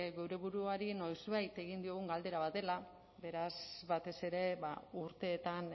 geure buruari noizbait egin diogun galdera bat dela beraz batez ere urteetan